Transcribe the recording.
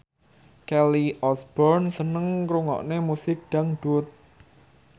Kelly Osbourne seneng ngrungokne musik dangdut